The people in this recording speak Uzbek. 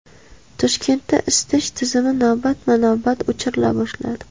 Toshkentda isitish tizimi navbatma-navbat o‘chirila boshlanadi.